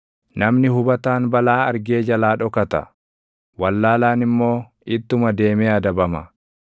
Namni hubataan balaa argee jalaa dhokata; wallaalaan immoo ittuma deemee adabama.